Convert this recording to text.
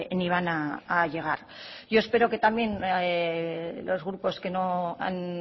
ni van a llegar yo espero que también los grupos que no han